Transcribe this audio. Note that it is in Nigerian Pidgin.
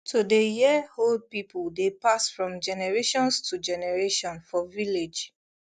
to dey hear old people dey pass from generations to generation for village